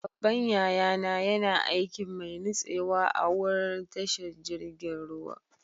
Babban yaya na yana aikin mai nutsewa a'wurin tashar jirigin ruwa.